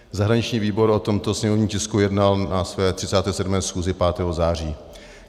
Zahraniční výbor o tomto sněmovním tisku jednal na své 37. schůzi 5. září.